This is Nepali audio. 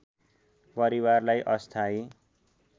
परिवारलाई अस्थायी